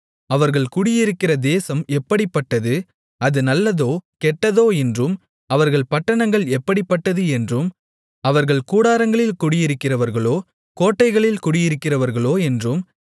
அவர்கள் குடியிருக்கிற தேசம் எப்படிப்பட்டது அது நல்லதோ கெட்டதோ என்றும் அவர்கள் பட்டணங்கள் எப்படிப்பட்டது என்றும் அவர்கள் கூடாரங்களில் குடியிருக்கிறவர்களோ கோட்டைகளில் குடியிருக்கிறவர்களோ என்றும்